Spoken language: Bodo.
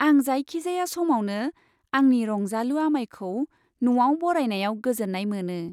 आं जायखिजाया समावनो आंनि रंजालु आमायखौ न'आव बरायनायाव गोजोन्नाय मोनो।